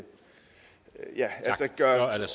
der er